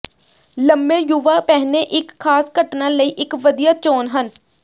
ਲੰਮੇ ਯੁਵਾ ਪਹਿਨੇ ਇੱਕ ਖਾਸ ਘਟਨਾ ਲਈ ਇੱਕ ਵਧੀਆ ਚੋਣ ਹਨ